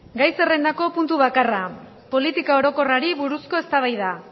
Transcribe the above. gai zerrendako puntu bakarra politika orokorrari buruzko eztabaida